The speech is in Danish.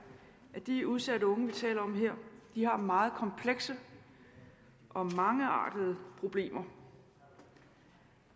at de udsatte unge vi taler om her har meget komplekse og mangeartede problemer